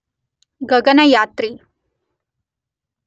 ಗಗನಯಾತ್ರಿ